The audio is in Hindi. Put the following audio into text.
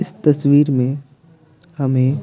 इस तस्वीर में हमें--